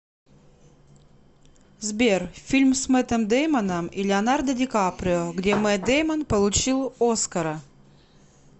сбер фильм с мэттом деймоном и леонардо ди каприо где мэтт деймон получил оскара